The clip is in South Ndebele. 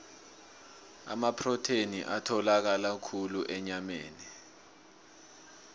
amaprotheni atholakala khulu enyameni